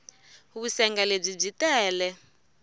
vusenga lebyi byi tele